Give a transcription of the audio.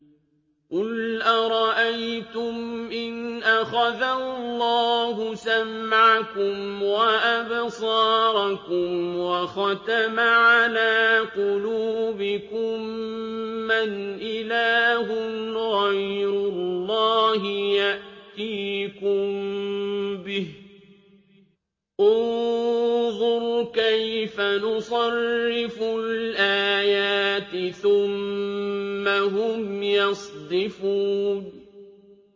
قُلْ أَرَأَيْتُمْ إِنْ أَخَذَ اللَّهُ سَمْعَكُمْ وَأَبْصَارَكُمْ وَخَتَمَ عَلَىٰ قُلُوبِكُم مَّنْ إِلَٰهٌ غَيْرُ اللَّهِ يَأْتِيكُم بِهِ ۗ انظُرْ كَيْفَ نُصَرِّفُ الْآيَاتِ ثُمَّ هُمْ يَصْدِفُونَ